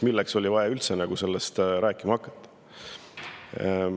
Milleks oli vaja üldse sellest rääkima hakata?